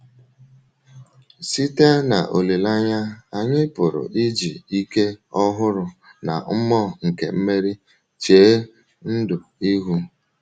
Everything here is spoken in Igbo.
“ Site n’olileanya, anyị pụrụ iji ike ọhụrụ na mmụọ nke mmeri chee ndụ ihu. ”.”